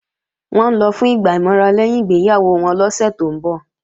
Wọ́n ń lọ fún ìgbà ìmọra lẹ́yìn ìgbéyàwó wọn lọ́sẹ̀ tó ń bọ̀